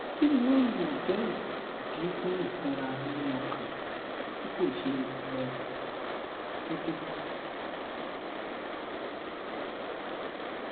kini o le je idi fun ifunra mimi okan ti ko se um deede